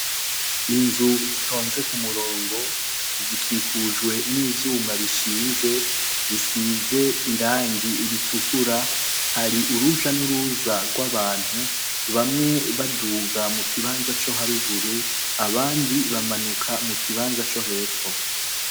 Inzu zitonze ku murongo zikikujwe n'ivyuma bishinze bisize irangi ritukura. Hari uruja n'uruza rw'abantu bamwe baduga mu kibanza co haruguru abandi bamanuka mu kibanza co hepfo.